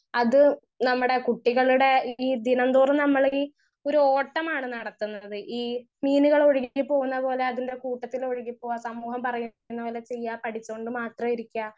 speaker 1 അത് നമ്മടെ കുട്ടികള്ടെ ഈ ദിനം തോറും നമ്മൾ ഈ ഒര് ഓട്ടമാണ് നടത്തുന്നത് ഈ മീനുകൾ ഒഴുകി പോകുന്ന പോലെ അതിന്റെ കൂട്ടത്തിൽ ഒഴുകി പോവാൻ സമൂഹം പറയ്ന്ന പോലെ ചെയ്യാ പഠിച്ചോണ്ട് മാത്രം ഇരിക്ക